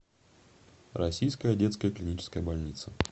российская детская клиническая больница